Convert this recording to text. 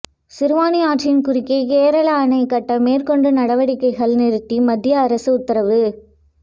சிறுவாணி ஆற்றின் குறுக்கே கேரள அணை கட்ட மேற்கொண்ட நடவடிக்கைகளை நிறுத்தி மத்திய அரசு உத்தரவு